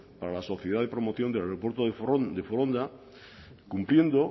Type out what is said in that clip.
para la sociedad de promoción del aeropuerto de foronda cumpliendo